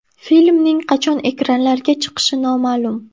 Filmning qachon ekranlarga chiqishi noma’lum.